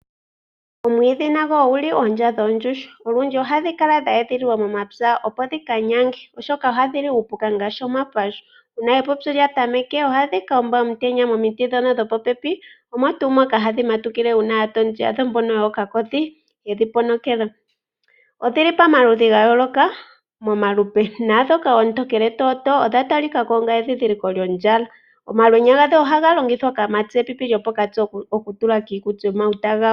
Omwiidhi nago ogu li oondya goondjuhwa. Olundji oto adha dha edhililwa momapya, opo dhi ka nyange, oshoka ohadhi li uupuka ngaashi omapahu. Uuna epupyu lya tameke ohadhi ka gondja omutenya momiti ndhono dhopopepi, omo tuu moka hadhi matukile uuna aatondi yadho ngaashi mbono yookakodhi yedhi ponokela. Odhi li pamaludhi ga yooloka momalupe. Naandhoka oontokele tootoo odha talika ko onga edhindhiliko lyondjala. Omalwenya gadho ohaga longithwa kaamati gepipi lyopokati okutula kiikuti komauta gawo.